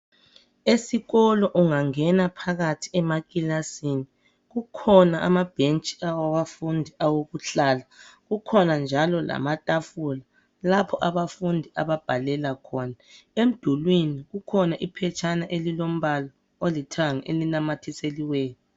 Esikolo ungangena phakathi emakilasini kukhona amabhentshi awabafundi owokuhlala kukhona njalo lamatafula lapho abafundi ababhalele emdulwini kukhona iphetshana ilombala olithanga elinamathiseliweyo.